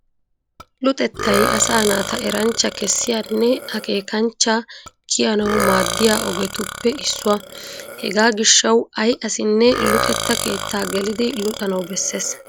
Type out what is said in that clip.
Luxettay asaa naata eranchcha kessiyanne akeekanchcha kiyanawu maaddiya ogiyappe issuwa . Hegaa gishshawu ay asinne luxetta keettaa gelidi luxanawu bessees.